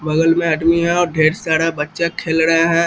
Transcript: बगल में आदमी और ढेर सारा बच्चा खेल रहा है।